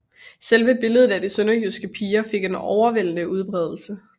Selve billedet af De Sønderjyske Piger fik en overvældende udbredelse